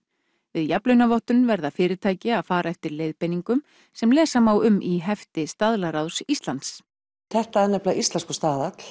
við jafnlaunavottun verða fyrirtæki að fara eftir nákvæmum leiðbeiningum sem lesa má um í hefti Staðlaráðs Íslands þetta er íslenskur staðall